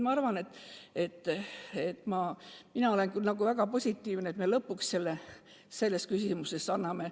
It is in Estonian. Nii et mina olen küll väga rahul, kui me lõpuks selle võimaluse anname.